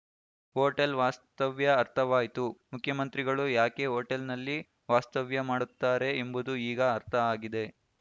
hotel ವಾಸ್ತವ್ಯ ಅರ್ಥವಾಯ್ತು ಮುಖ್ಯಮಂತ್ರಿಗಳು ಯಾಕೆ ಹೊಟೇಲ್‌ನಲ್ಲಿ ವಾಸ್ತವ್ಯ ಮಾಡುತ್ತಾರೆ ಎಂಬುದು ಈಗ ಅರ್ಥ ಆಗಿದೆ